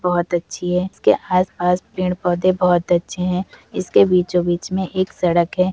बहोत अच्छी है। इसके आसपास पेड़ पौधे बहोत अच्छे हैं। इसके बीचो बीच में एक सड़क है।